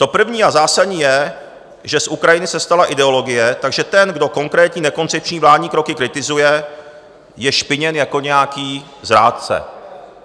To první a zásadní je, že z Ukrajiny se stala ideologie, takže ten, kdo konkrétní nekoncepční vládní kroky kritizuje, je špiněn jako nějaký zrádce.